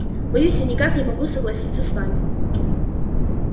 боюсь я никак не могу согласиться с вами